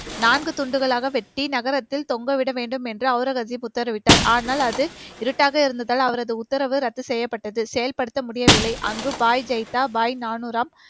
நான்கு துண்டுகளாக வெட்டி, நகரத்தில் தொங்க விட வேண்டும் என்று அவுரகசீப் உத்தரவிட்டார். ஆனால், அது இருட்டாக இருந்ததால், அவரது உத்தரவு ரத்து செய்யப்பட்டது. செயல்படுத்த முடியவில்லை. அங்கு